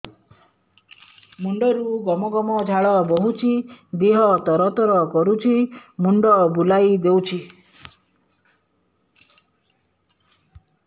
ମୁଣ୍ଡରୁ ଗମ ଗମ ଝାଳ ବହୁଛି ଦିହ ତର ତର କରୁଛି ମୁଣ୍ଡ ବୁଲାଇ ଦେଉଛି